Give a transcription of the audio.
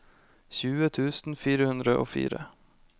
tjue tusen fire hundre og fire